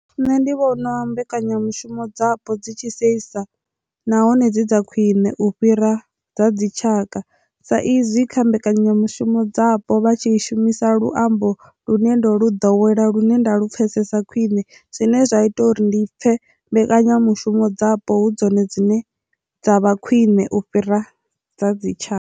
Nṋe ndi vhona mbekanyamushumo dzapo dzi tshi seisa nahone dzi dza khwiṋe u fhira dza dzi tshaka sa izwi kha mbekanyamushumo dzapo vhatshi shumisa luambo lune ndo lu ḓowela lune nda lu pfhesesa khwine zwine zwa ita uri ndi pfhe mbekanyamushumo dzapo hu dzone dzine dza vha khwiṋe u fhira dza dzi tshaka.